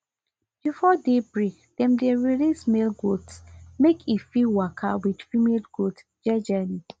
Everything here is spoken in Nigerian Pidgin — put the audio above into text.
before day break dem dey release male goat make e fit waka with female goat jejely